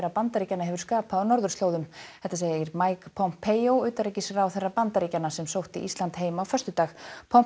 Bandaríkjanna hefur skapað á norðurslóðum þetta segir Mike Pompeo utanríkisráðherra Bandaríkjanna sem sótti Ísland heim á föstudag